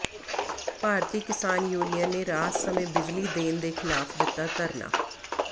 ਭਾਰਤੀ Kisan union ਨੇ ਰਾਤ ਸਮੇਂ ਬਿਜਲੀ ਦੇਣ ਦੇ ਿਖ਼ਲਾਫ਼ ਦਿੱਤਾ ਧਰਨਾ